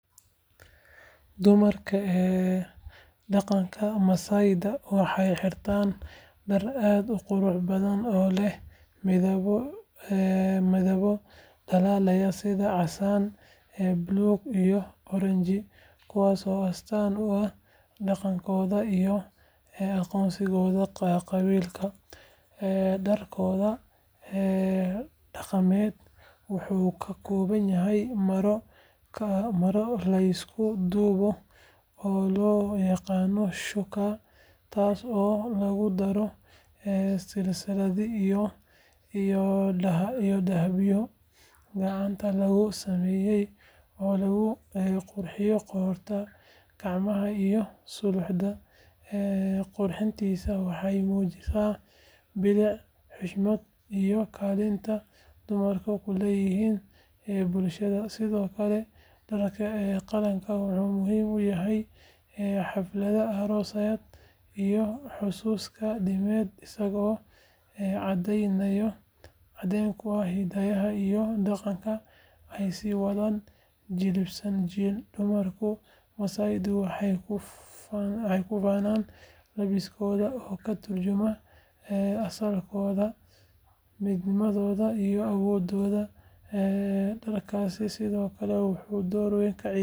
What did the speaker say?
Dumarka dhaqanka Maasaida waxay xirtaan dhar aad u qurux badan oo leh midabbo dhalaalaya sida casaan, buluug iyo oranji kuwaas oo astaan u ah dhaqankooda iyo aqoonsigooda qabiilka. Dharkooda dhaqameed wuxuu ka kooban yahay maro la isku duubto oo loo yaqaan shÃºkÃ , taas oo lagu daro silsilado iyo dahabyo gacanta lagu sameeyay oo lagu qurxiyo qoorta, gacmaha iyo suxullada. Qurxintaasi waxay muujisaa bilic, xushmad iyo kaalinta dumarku ku leeyihiin bulshada. Sidoo kale, dharka dhaqanka wuxuu muhiim u yahay xafladaha, aroosyada, iyo xusaska diimeed, isagoo caddeyn u ah hiddaha iyo dhaqanka ay sii wadaan jiilba jiil. Dumarka Maasaida waxay ku faanaan labiskooda oo ka tarjumaya asalkooda, midnimadooda iyo awooddooda. Dharkaasi sidoo kale wuxuu door ka ciyaaraa dhiirigelinta dhaqanka iyo ilaalinta aqoonsiga qowmiyadeed ee Maasaida, isagoo ah astaan weyn oo lagu garan karo bulshadaasi meel kasta oo ay joogaan.